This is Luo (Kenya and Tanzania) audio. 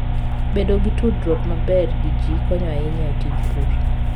Bedo gi tudruok maber gi ji konyo ahinya e tij pur.